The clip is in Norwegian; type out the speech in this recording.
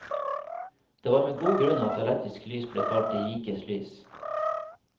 Det var med god grunn at elektrisk lys ble kalt de rikes lys.